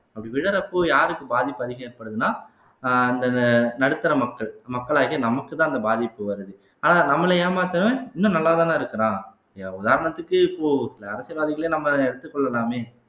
அப்படி விழறப்போ யாருக்கு பாதிப்பு அதிகம் ஏற்படுதுன்னா அஹ் அந்தந்த நடுத்தர மக்கள் மக்களாகிய நமக்குத்தான் அந்த பாதிப்பு வருது ஆனா நம்மளை ஏமாத்தறவன் இன்னும் நல்லாதானே இருக்கிறான் உதாரணத்துக்கு இப்போ சில அரசியல்வாதிகளை நம்ம எடுத்து கொள்ளலாமே